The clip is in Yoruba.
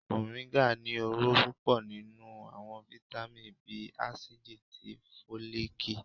Moringa ní ọrọ pupọ ninú awọn vitamí bii acidí tí folikí.